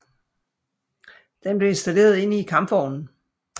Den blev installeret inde i kampvognen